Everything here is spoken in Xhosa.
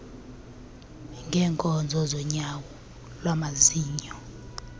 ngeenkonzo zonyango lwamazinyo